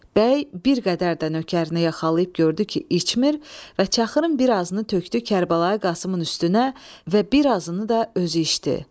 Bəy bir qədər də nökərini yaxalayıb gördü ki içmir və çaxırın birazını tökdü Kərbəlayi Qasımın üstünə və birazını da özü içdi.